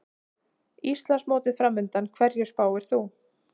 Íslandsmótið framundan, hverju spáir þú?